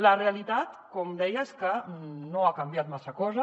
la realitat com deia és que no ha canviat massa cosa